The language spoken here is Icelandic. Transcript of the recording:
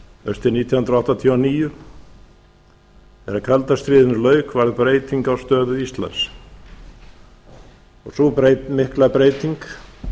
haustið nítján hundruð áttatíu og níu þegar kalda stríðinu lauk varð breyting á stöðu íslands sú mikla breyting